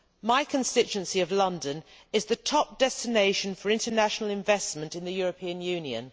My constituency of London is the top destination for international investment in the European Union.